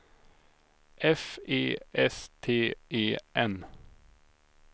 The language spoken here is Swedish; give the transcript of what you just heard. F E S T E N